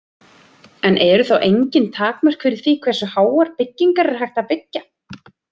En eru þá engin takmörk fyrir því hversu háar byggingar er hægt að byggja?